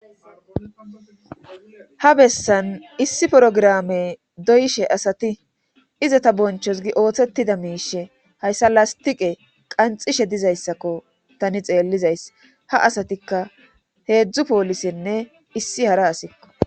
ha bessan issi porograme doyishe asati iza ta bonchos gi ooththettida miishe hayssa lastiqe qanxishe dizayssakko tani xeellizays ha asatikka heedzdzu poolisinne issi hara asikko